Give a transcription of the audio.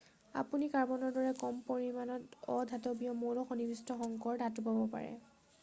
আপুনি কাৰ্বনৰ দৰে কম পৰিমানত অধাতৱীয় মৌল সন্নিৱিষ্ট সংকৰ ধাতু পাব পাৰে